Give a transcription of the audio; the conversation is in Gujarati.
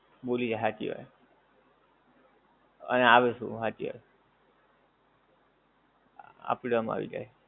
ભૂલી જાય હાચી વાત આય આવે શું હાચી વાત આપણામા આવી જાય